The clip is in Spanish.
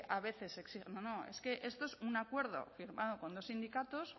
a veces se exija no no es que esto es un acuerdo firmado con dos sindicatos